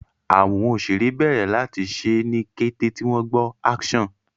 àwọn òṣeré bèrè láti ṣe ní kété tí wón gbó "action"